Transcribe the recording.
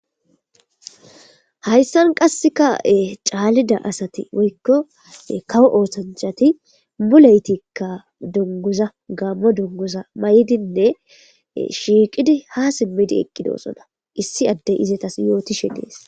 Hayssan qasse ka7e caalida asati woykko kawo ooshanchati buleytikka dunguza gammo dungusa may7dinne shiiqidi ha simmidi eqqidoosona issi addey izetas yootishe dees.